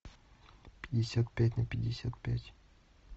пятьдесят пять на пятьдесят пять